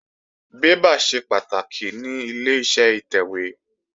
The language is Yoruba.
Bébà ṣe pàtàkì ní Ileṣẹ́ ìtẹ̀wé